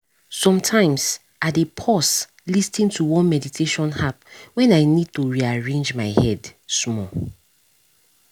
sometimes i dey pause lis ten to one meditation app when i need to rearrange my head small